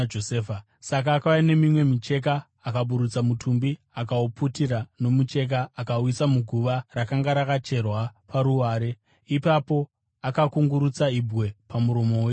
Saka akauya nemimwe micheka, akaburutsa mutumbi, akauputira nomucheka, akauisa muguva rakanga rakacherwa paruware. Ipapo akakungurutsira ibwe pamuromo weguva.